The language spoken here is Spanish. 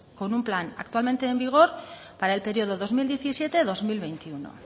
con un plan actualmente en vigor para el periodo dos mil diecisiete dos mil veintiuno